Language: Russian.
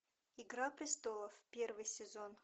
игра престолов первый сезон